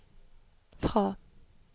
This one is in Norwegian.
fra